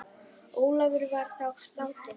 Ólafur var þá látinn.